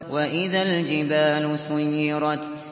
وَإِذَا الْجِبَالُ سُيِّرَتْ